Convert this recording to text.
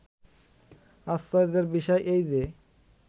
"আশ্চর্য্যের বিষয় এই যে